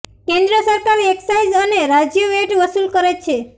કેન્દ્ર સરકાર એક્સાઈઝ અને રાજ્ય વેટ વસૂલ કરે છે